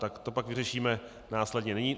Tak to pak vyřešíme následně.